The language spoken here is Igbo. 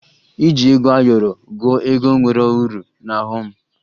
Iji ego ayọrọ gụọ ego nwere uru na ọghọ m